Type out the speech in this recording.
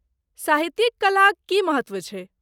साहित्यिक कलाक की महत्त्व छै?